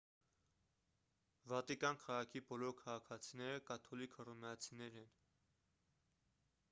վատիկան քաղաքի բոլոր քաղաքացիները կաթոլիկ հռոմեացիներ են